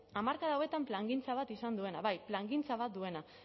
hamarkada hauetan plangintza bat izan duena bai plangintza bat duena